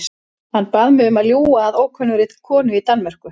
Hann bað mig um að ljúga að ókunnugri konu í Danmörku.